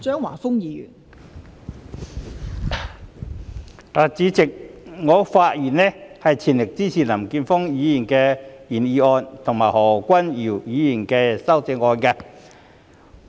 代理主席，我的發言是全力支持林健鋒議員的原議案，以及何君堯議員的修正案。